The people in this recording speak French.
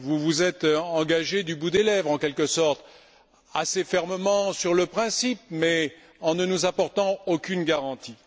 Vous vous êtes engagé du bout des lèvres, en quelque sorte, assez fermement sur le principe, mais en ne nous apportant aucune garantie.